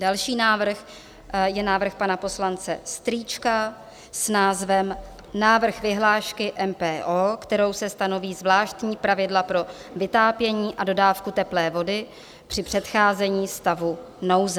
Další návrh je návrh pana poslance Strýčka s názvem Návrh vyhlášky MPO, kterou se stanoví zvláštní pravidla pro vytápění a dodávku teplé vody při předcházení stavu nouze.